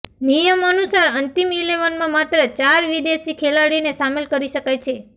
નિયમ અનુસાર અંતિમ ઈલેવનમાં માત્ર ચાર વિદેશી ખેલાડીને સામેલ કરી શકાય છે